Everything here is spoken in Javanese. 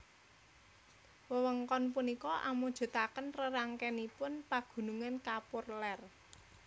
Wewengkon punika amujutaken rerangkenipun pagunungan kapur ler